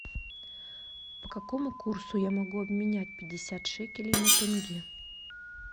по какому курсу я могу обменять пятьдесят шекелей на тенге